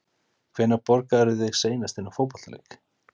Hvenær borgaðirðu þig seinast inná fótboltaleik?